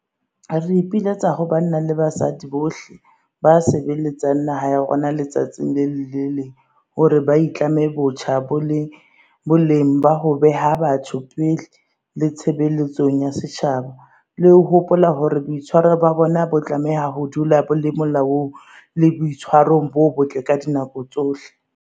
Re ipiletsa ho banna le basadi bohle ba sebeletsang naha ya rona letsatsi le leng le le leng hore ba itlame botjha boleng ba ho beha batho pele le tshebeletsong ya setjhaba, le ho hopola hore boitshwaro ba bona bo tlameha ho dula bo le molaong le boitshwarong bo botle ka dinako tsohle.